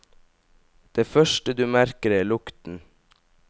Det første du merker er lukten.